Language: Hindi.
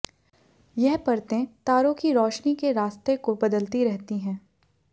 यह परतें तारों की रोशनी के रास्ते को बदलती रहती हैं